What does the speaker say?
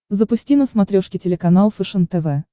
запусти на смотрешке телеканал фэшен тв